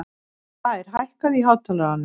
Blær, hækkaðu í hátalaranum.